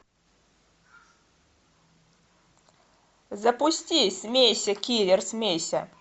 запусти смейся киллер смейся